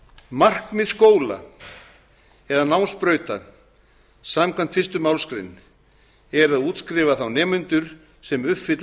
markmið skóla eða námsbrauta samkvæmt fyrstu málsgrein er að útskrifa þá nemendur sem uppfylla